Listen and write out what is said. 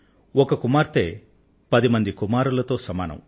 ఒక కుమార్తె పది కుమారులతో సమానం